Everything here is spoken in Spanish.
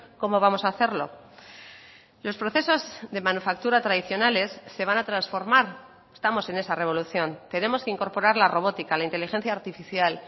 cómo vamos a hacerlo los procesos de manufactura tradicionales se van a transformar estamos en esa revolución tenemos que incorporar la robótica la inteligencia artificial